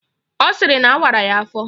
Ọ sịrị na awara ya afọ